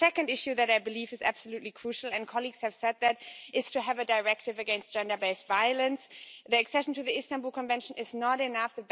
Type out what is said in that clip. The second issue that I believe is absolutely crucial and colleagues have said this is to have a directive against gender based violence. The accession to the Istanbul Convention is not enough.